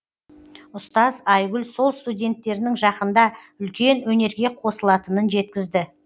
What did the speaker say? ұстаз айгүл сол студенттерінің жақында үлкен өнерге қосылатынын жеткізді